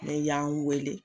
n'e y'an weele